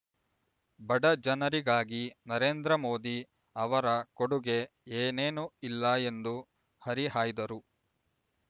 ಬಡ ಜನರಿಗಾಗಿ ನರೇಂದ್ರ ಮೋದಿ ಅವರ ಕೊಡುಗೆ ಏನೇನೂ ಇಲ್ಲ ಎಂದು ಹರಿಹಾಯ್ದರು